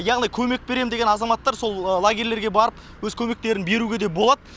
яғни көмек берем деген азаматтар сол лагерьлерге барып өз көмектерін беруге де болады